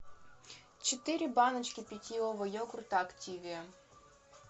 четыре баночки питьевого йогурта активия